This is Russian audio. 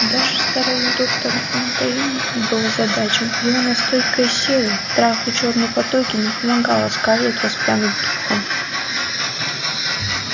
даже старый доктор фонтейн был озадачен его настойка из серы трав и чёрной патоки не помогала скарлетт воспрянуть духом